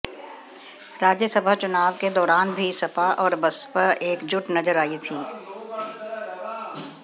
राज्यसभा चुनाव के दौरान भी सपा और बसपा एकजुट नजर आईं थीं